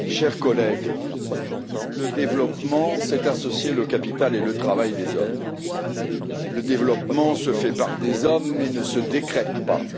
Monsieur le Président, chers collègues, le développement, c'est associer le capital et le travail des hommes. Le développement se fait par des hommes, mais ne se décrète pas.